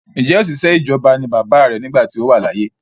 Ǹjẹ́ ọ̀sìṣẹ́ ìjọba ni bàbáà rẹ nígbà tí ó wà láyé?